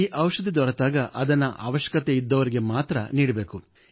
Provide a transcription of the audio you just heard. ಈ ಔಷಧಿ ದೊರೆತಾಗ ಅದನ್ನು ಅವಶ್ಯಕತೆಯಿದ್ದವರಿಗೆ ಮಾತ್ರ ನೀಡಬೇಕು